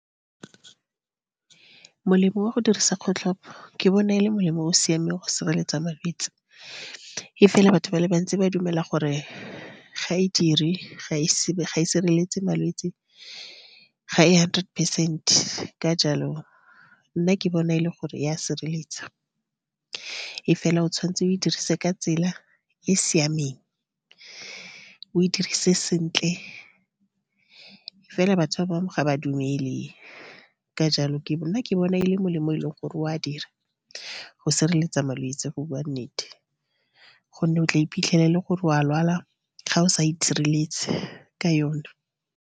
Molemo wa go dirisa kgotlhopo, ke bona e le molemo o o siameng go sireletsa malwetse. Mme fela, batho ba le bantsi ba dumela gore ga e dire ga e sireletse malwetse, ga e hundred percent-e. Ka jalo, nna ke bona e le gore ya sireletsa. Mme fela, o tshwanetse o e dirisiwe ka tsela e siameng, o e dirise sentle. Fela batho ba bangwe ga ba dumele, ka jalo ke nna ke bona e le molemo, o e leng gore o a dira go sireletsa malwetse go bua nnete, gonne o tla iphitlhela e le gore o a lwala ga o sa itshireletse ka yone.